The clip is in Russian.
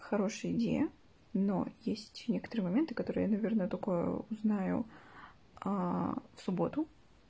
хорошая идея но есть некоторые моменты которые я наверное только узнаю в субботу